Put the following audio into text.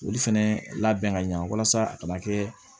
Olu fɛnɛ labɛn ka ɲɛ walasa a kana kɛ